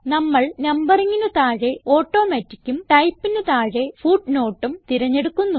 നമ്മൾ Numberingന് താഴെ Automaticഉം Typeന് താഴെ Footnoteഉം തിരഞ്ഞെടുക്കുന്നു